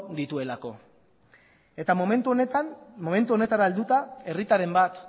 dituelako eta momentu honetara helduta herritarren bat